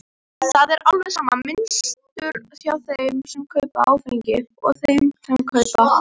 Það er alveg sama mynstur hjá þeim sem kaupa áfengi og þeim sem kaupa dóp.